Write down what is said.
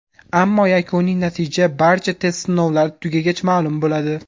Ammo yakuniy natija barcha test sinovlari tugagach ma’lum bo‘ladi.